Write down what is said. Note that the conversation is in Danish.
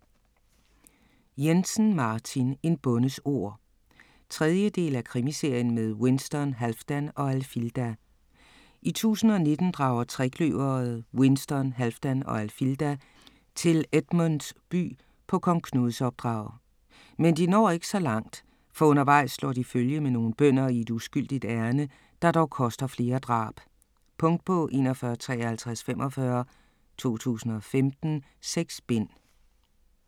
Jensen, Martin: En bondes ord 3. del af Krimiserien med Winston, Halfdan og Alfilda. I 1019 drager trekløveret Winston, Halfdan og Alfilda til Edmunds By på Kong Knuds opdrag. Men de når ikke så langt, for undervejs slår de følge med nogle bønder i et uskyldigt ærinde, der dog koster flere drab. Punktbog 415345 2015. 6 bind.